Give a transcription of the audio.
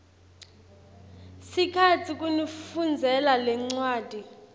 sikhatsi kunifundzela lencwadzi